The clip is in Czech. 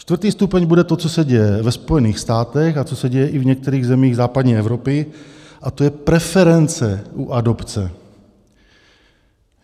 Čtvrtý stupeň bude to, co se děje ve Spojených státech a co se děje i v některých zemí západní Evropy, a to je preference u adopce.